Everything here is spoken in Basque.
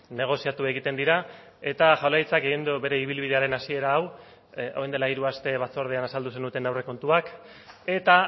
negoziatu egiten dira eta jaurlaritzak egin du bere ibilbidearen hasiera hau orain dela hiru aste batzordean azaldu zenuten aurrekontuak eta